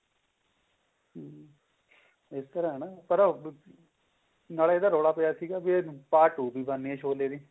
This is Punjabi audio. ਹਮ ਇਸ ਤਰ੍ਹਾਂ ਹੈ ਨਾ ਪਰ ਨਾਲੇ ਇਹਦਾ ਰੋਲਾ ਪਿਆ ਸੀਗਾ ਵੀ part two ਵੀ ਬਣਨੀ ਹੈ ਸ਼ੋਲੇ ਦੀ